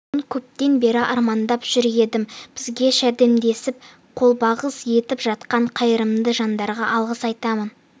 болуын көптен бері армандап жүр едім бізге жәрдемдесіп қолғабыс етіп жатқан қайырымды жандарға алғыс айтамын